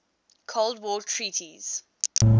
cold war treaties